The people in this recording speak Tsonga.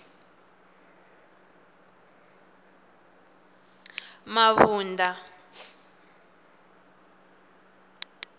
mabunda